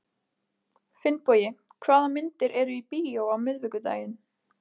Finnbogi, hvaða myndir eru í bíó á miðvikudaginn?